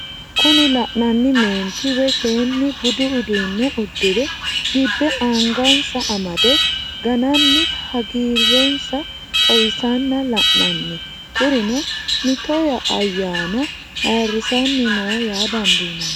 Kuni la'nanni meenti woyi seenni budu uduu'ne udire dibe anga'nsa amade gananni haggire'sa xawisanna la'nanni, kurino mito ayanna ayiirisanni no yaa dandinanni